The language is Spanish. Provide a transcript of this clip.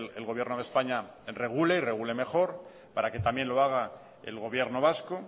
el gobierno de españa regule regule mejor para que también lo haga el gobierno vasco